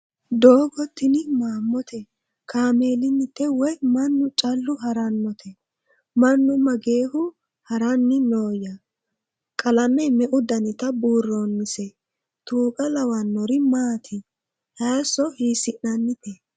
Doggo tini mamootte? Kaameelinnitte? Woy mannu callu harannotte? Mannu mageehu haranni nooya? Qalame meu dannitta buuroonnisse? Tuuqo lawaannori maatti? Hayiiso hiisinannitte?